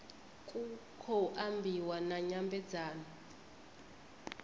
ku khou ambiwa na nyambedzano